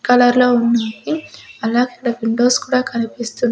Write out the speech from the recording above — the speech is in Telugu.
కలర్ లో ఉన్నాది అలాగే దాని విండోస్ కూడా కనిపిస్తూ.